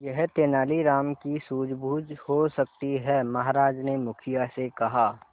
यह तेनालीराम की सूझबूझ हो सकती है महाराज ने मुखिया से कहा